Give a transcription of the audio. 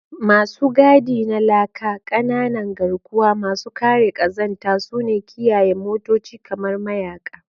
Masu gadi na laka, ƙananan garkuwa masu kare ƙazanta, suna kiyaye motoci kamar mayaka.